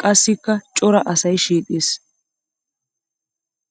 Qassikka cora asay shiiqis.